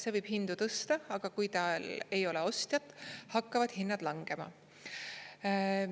Ta võib hindu tõsta, aga kui tal ei ole ostjat, hakkavad hinnad langema."